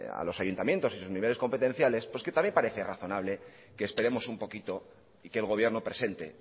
a los ayuntamientos en sus niveles competenciales pues que también parece razonable que esperemos un poquito y que el gobierno presente